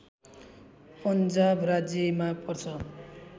पन्जाब राज्यमा पर्छ